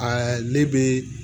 ne bɛ